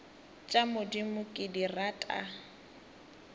tša modimo ke di rata